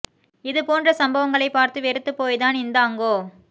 இது போன்ற சம்பவங்களை பார்த்து வெறுத்துப் போய் தான் இந்தாங்கோ